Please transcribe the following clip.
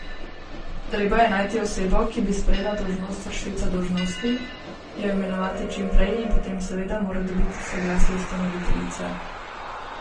Treba je najti osebo, ki bi sprejela dolžnost vršilca dolžnosti, jo imenovati čim prej in potem seveda mora dobiti soglasje ustanoviteljice.